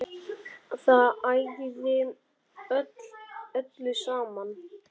Það ægði öllu saman